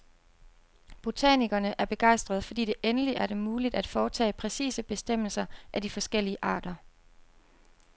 Botanikerne er begejstrede, fordi det endeligt er dem muligt at foretage præcise bestemmelser af de forskellige arter.